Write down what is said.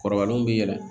Kɔrɔbalenw bɛ yɛlɛ